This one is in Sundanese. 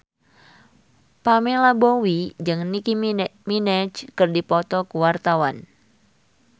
Pamela Bowie jeung Nicky Minaj keur dipoto ku wartawan